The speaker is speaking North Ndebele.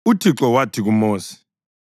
UThixo wathi kuMosi,